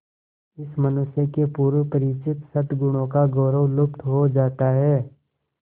इस मनुष्य के पूर्व परिचित सदगुणों का गौरव लुप्त हो जाता है